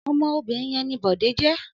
Ọmọ obìnrin yẹn ni Bọ̀dé jẹ́.